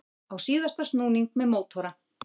Á síðasta snúning með mótora